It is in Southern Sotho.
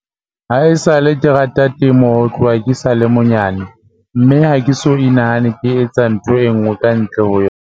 Ha esale ke rata temo ho tloha ke sa le monyane mme ha ke so inahane ke etsa ntho enngwe ka ntle ho yona."